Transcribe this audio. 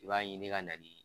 I b'a ɲini ka na di